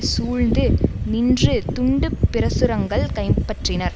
சூழ்ந்து நின்று துண்டு பிரசுரங்கள் கைபற்றினர்